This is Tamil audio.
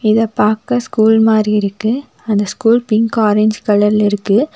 இத பாக்க ஸ்கூல் மாரி இருக்கு அந்த ஸ்கூல் பிங்க் ஆரஞ்சு கலர்ல இருக்கு.